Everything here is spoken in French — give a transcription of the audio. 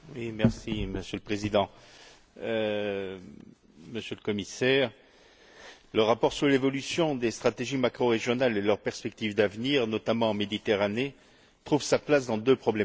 Monsieur le Président, Monsieur le Commissaire, le rapport sur l'évolution des stratégies macrorégionales et leurs perspectives d'avenir, notamment en Méditerranée, s'inscrit dans deux problématiques.